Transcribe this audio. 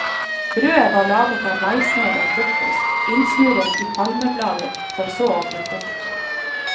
Brødet var laget av maismel og kokos, innsnurret i palmeblader for så å bli kokt.